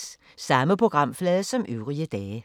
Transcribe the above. Samme programflade som øvrige dage